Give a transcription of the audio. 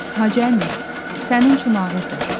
Hacı əmi, sənin üçün ağırdır.